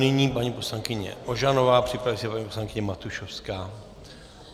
Nyní paní poslankyně Ožanová, připraví se paní poslankyně Matušovská.